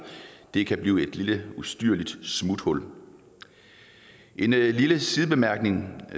det kan blive et lille ustyrligt smuthul en lille sidebemærkning